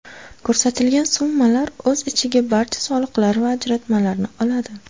Ko‘rsatilgan summalar o‘z ichiga barcha soliqlar va ajratmalarni oladi.